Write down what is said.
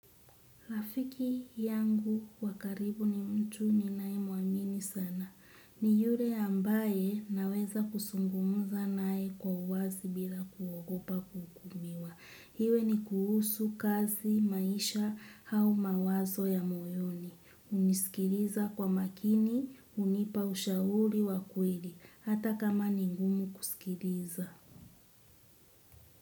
Rafiki yangu wa karibu ni mtu ninayemwamini sana. Ni yule ambaye naweza kuzungumza naye kwa wazi bila kuogopa kuhukumiwa. Iwe ni kuhusu kazi, maisha, au mawazo ya moyoni. Hunisikiliza kwa makini, hunipa ushauri wa kweli. Hata kama ni ngumu kusikiliza.